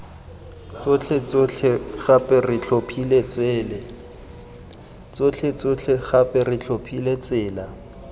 tsotlhetsotlhe gape re tlhophile tsela